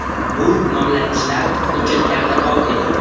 Bu nomlanishlar hujjatlarda bor edi.